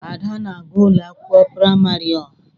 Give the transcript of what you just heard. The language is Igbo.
Ada na aga ụlọ akwụkwọ praịmarị ọha.